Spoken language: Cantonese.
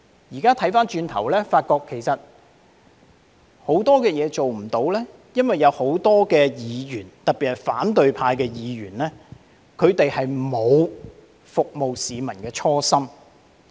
現在回望過去，發覺其實很多事情做不到，是因為有很多議員，特別是反對派議員沒有服務市民的初心。